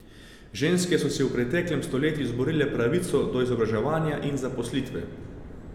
Ženske so si v preteklem stoletju izborile pravico do izobraževanja in zaposlitve.